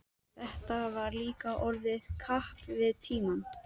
Þetta var líka orðið kapp við tímann.